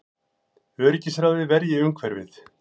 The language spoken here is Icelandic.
Öryggisráðið verji umhverfið